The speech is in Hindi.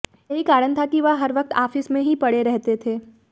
यही कारण था कि वह हर वक्त आफिस में ही पड़े रहते थे